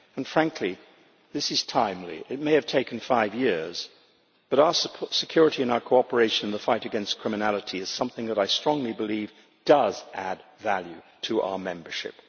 Frankly, this is timely. It may have taken five years, but our security and our cooperation in the fight against criminality is something that I strongly believe does add value to our membership.